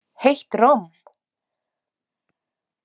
Heitt romm.